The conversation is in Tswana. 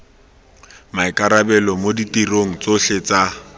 maikarabelo mo ditirong tsotlhe tsa